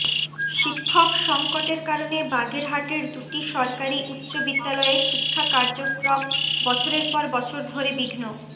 শিক্ষক সংকটের কারণে বাগেরহাটের দুটি সরকারি উচ্চ বিদ্যালয়ে শিক্ষা কার্যক্রম বছরের পর বছর ধরে বিঘ্ন